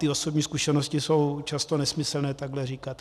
Ty osobní zkušenosti jsou často nesmyslné takhle říkat.